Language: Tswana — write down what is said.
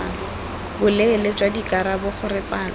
boleele jwa dikarabo gore palo